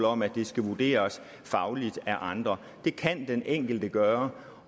om at det skal vurderes fagligt af andre det kan den enkelte gøre